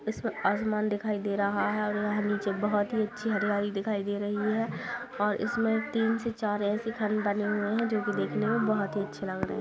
इसमे आसमान दिखाई दे रहा है और वहां नीचे बहुत ही अच्छी हरियाली दिखाई दे रही है और इसमे तीन से चार ऐसे खन बने हुए है जो कि देखने में बहुत ही अच्छे लग रहे है।